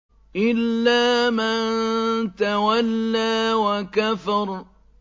إِلَّا مَن تَوَلَّىٰ وَكَفَرَ